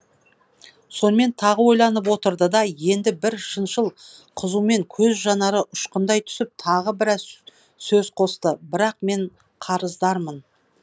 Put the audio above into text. сонымен тағы ойланып отырды да енді бір шыншыл қызумен көз жанары ұшқындай түсіп тағы біраз сөз қосты бірақ мен қарыздармын